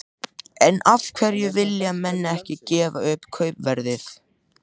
En af hverju vilja menn ekki gefa upp kaupverðið?